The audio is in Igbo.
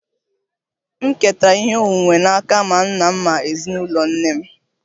M ketara ihe onwunwe n'aka ma nna m ma ezinụlọ nne m